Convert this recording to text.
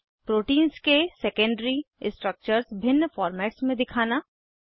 proteins के secondary structures भिन्न formats में दिखाना